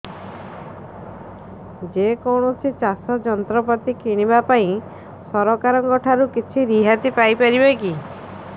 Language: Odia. ଯେ କୌଣସି ଚାଷ ଯନ୍ତ୍ରପାତି କିଣିବା ପାଇଁ ସରକାରଙ୍କ ଠାରୁ କିଛି ରିହାତି ପାଇ ପାରିବା କି